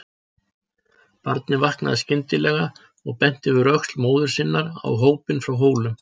Barnið vaknaði skyndilega og benti yfir öxl móður sinnar á hópinn frá Hólum.